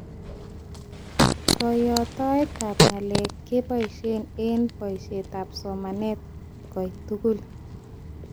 Koyotoetab ngalek keboishee eng boishetab somanet koitokul